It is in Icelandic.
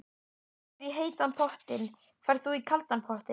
Ég fer í heita pottinn. Ferð þú í kalda pottinn?